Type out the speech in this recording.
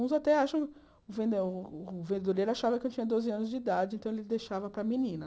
Uns até acham... O vende o verdureiro achava que eu tinha doze anos de idade, então ele deixava para a menina.